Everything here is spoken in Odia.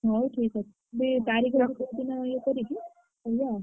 ହଉ ଠିକ୍ ଅଛି। ତାରିଖ ହରିକା କୋଉ ଦିନ ଇଏ କରିକି କହିବ ଆଉ।